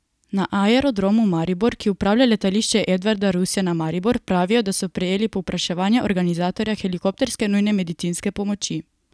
Na Aerodromu Maribor, ki upravlja Letališče Edvarda Rusjana Maribor, pravijo, da so prejeli povpraševanje organizatorja helikopterske nujne medicinske pomoči.